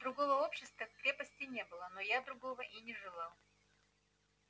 другого общества в крепости не было но я другого и не желал